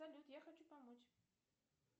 салют я хочу помочь